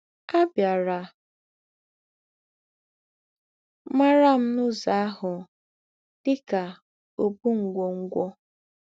À bịàrā màrá m n’ǔzọ̄ àhụ̀ dị kà “ ǒbù̄ ngwọ̀ngwọ̀. ”